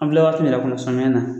An filɛ waati min na kunu samiya na